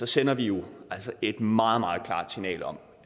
sender vi jo et meget meget klart signal om